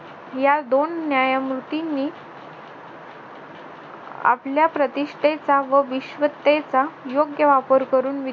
या दोन न्यायमूर्तींनी आपल्या प्रतिष्ठेचा व विश्वतेचा योग्य वापर करून